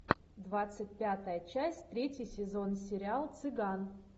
двадцать пятая часть третий сезон сериал цыган